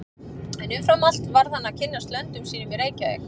En umfram allt varð hann að kynnast löndum sínum í Reykjavík.